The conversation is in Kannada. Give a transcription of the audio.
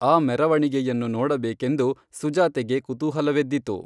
ಆ ಮೆರವಣಿಗೆಯನ್ನು ನೋಡಬೇಕೆಂದು ಸುಜಾತೆಗೆ ಕುತೂಹಲವೆದ್ದಿತು